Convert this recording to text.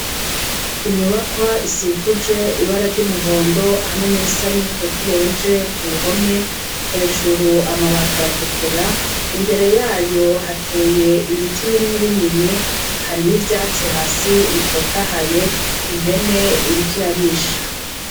Inyubakwa isikuje ibara ry' umuhondo hamwe n' irisa n' umutoto ubeje ku bihome hejuru amabati aratukura imbere yayo hateye ibiti binini binini hari n' ivyatsi hasi bitotahaye impene iriko irarisha.